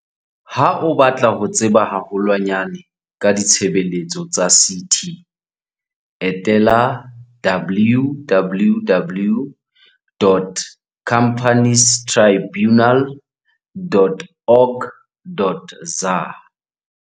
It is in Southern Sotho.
Ha o batla ho tseba haho lwanyane ka ditshebeletso tsa CT, etela www.companiestribu nal.org.za.